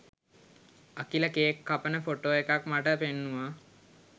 Akila cake කපන photo එකක් මට පෙන්නුවා